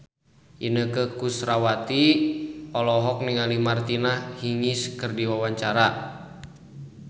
Inneke Koesherawati olohok ningali Martina Hingis keur diwawancara